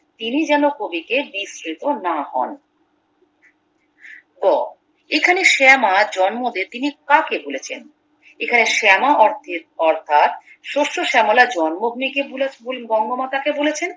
তিনি যেন কবিকে বিস্মৃত না হন গ এখানে শ্যামা জন্মদে তিনি কাকে বলেছেন এখানে শ্যামা অর্থের অর্থাৎ শস্য শ্যামলা জন্মভূমিকে বলে বঙ্গমাতাকে বলেছেন